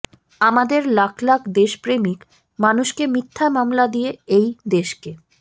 আমাদের লাখ লাখ দেশপ্রেমিক মানুষকে মিথ্যা মামলা দিয়ে এই দেশকে